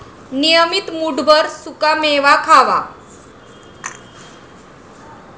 नियमित मूठभर सुकामेवा खावा.